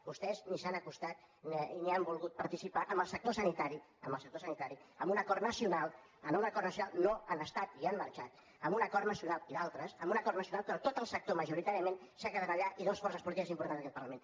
vostès ni s’han acostat ni han volgut participar amb el sector sanitari amb el sector sanitari en un acord nacional no hi han estat i han marxat en un acord nacional i d’altres en un acord nacional però tot el sector majoritàriament s’ha quedat allà i dues forces polítiques importants d’aquest parlament